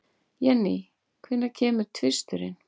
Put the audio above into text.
Jenny, hvenær kemur tvisturinn?